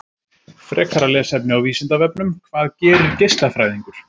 Frekara lesefni á Vísindavefnum: Hvað gerir geislafræðingur?